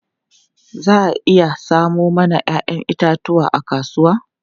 Za a iya samo mana 'ya'yan itatuwa a kasuwa?